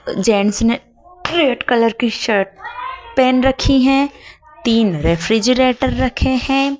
Gents ने red colour की shirt पहन रखी हैं तीन रेफ्रिजरेटर रखे हैं।